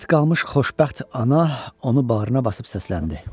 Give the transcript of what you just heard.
Mat qalmış xoşbəxt ana onu bağrına basıb səsləndi.